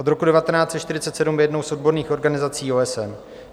Od roku 1947 je jednou z odborných organizací OSN.